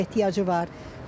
Ehtiyacı var.